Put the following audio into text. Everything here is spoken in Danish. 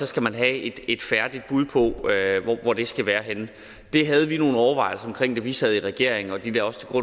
skal man have et et færdigt bud på hvor det skal være henne det havde vi nogle overvejelser omkring da vi sad i regering og de lå også til